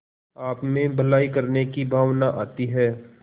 आपमें भलाई करने की भावना आती है